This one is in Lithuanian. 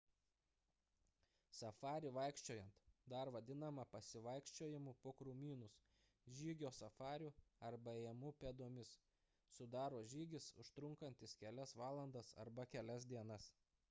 safarį vaikščiojant dar vadinamą pasivaikščiojimu po krūmynus žygio safariu arba ėjimu pėdomis sudaro žygis užtrunkantis kelias valandas arba kelias dienas